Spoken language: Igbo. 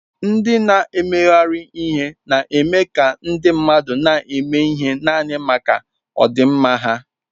Ndị na-emegharị ihe na-eme ka ndị mmadụ na-eme ihe naanị maka ọdịmma ha.